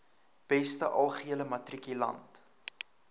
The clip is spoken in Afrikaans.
beste algehele matrikulant